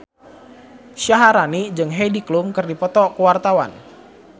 Syaharani jeung Heidi Klum keur dipoto ku wartawan